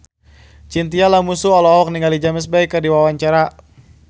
Chintya Lamusu olohok ningali James Bay keur diwawancara